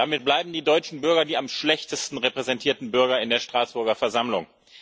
Damit bleiben die deutschen Bürger die am schlechtesten repräsentierten Bürger in der Straßburger Versammlung.